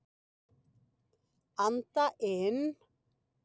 Anda inn.